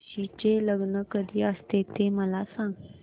तुळशी चे लग्न कधी असते ते मला सांग